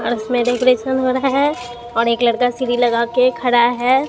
और इसमें डेकोरेशन हो रहा है और एक लड़का सीढ़ी लगा के खड़ा है।